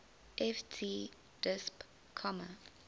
ft disp comma